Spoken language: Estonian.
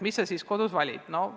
Mis sa siis kodus valid?